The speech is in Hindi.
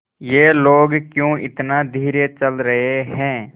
ये लोग क्यों इतना धीरे चल रहे हैं